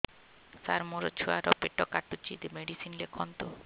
ସାର ମୋର ଛୁଆ ର ପେଟ କାଟୁଚି ମେଡିସିନ ଲେଖନ୍ତୁ